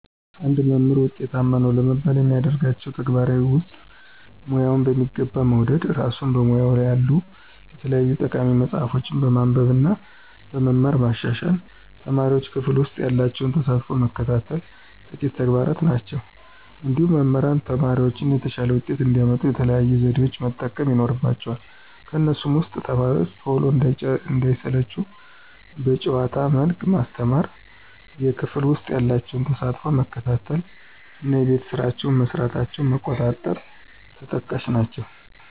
አንድ መምህር ውጤታማ ነው ለመባል ከሚያደርጋቸው ተግባራት ውስጥ፦ ሙያውን በሚገባ መውደድ፣ እራሱን በሙያው ያሉ የተለያዩ ጠቃሚ መፅሀፎችን በማንበብ እና በመማር ማሻሻል፣ ተማሪዎቹን ክፍል ውሰጥ ያላቸውን ተሳትፎ መከታተል ጥቂቶቹ ተግባራት ናቸው። እንዲሁም መምህራን ተማሪዎቻቸው የተሻለ ውጤት እንዲያመጡ የተለያዩ ዘዴዎችን መጠቀም ይኖርባቸዋል ከነሱም ውስጥ፦ ተማሪዎቹ ቶሎ እንዳይሰለቹ በጨዋታ መልክ ማስተማር፣ የክፍል ውስጥ ያላቸውን ተሳትፎ መከታተል እና የቤት ስራቸውን መስራታቸውን መቆጣጠር ተጠቃሽ ናቸው።